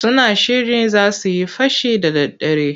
Suna shirin za su yi fashi da daddare.